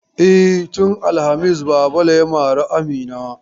E, tun alhamis Babale ya mare Amina.